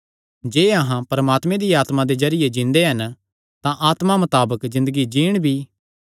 जे अहां परमात्मे दिया आत्मा दे जरिये जिन्दे हन तां आत्मा मताबक ज़िन्दगी जीन भी